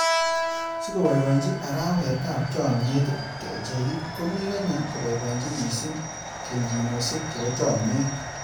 Sikiboiboienyi arawetab chomnyet, kecheik komi kenya koboiboenyin missing kelyinosiek chebo chomnyet.